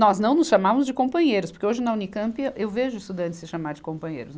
Nós não nos chamávamos de companheiros, porque hoje na Unicampe eu vejo estudantes se chamar de companheiros.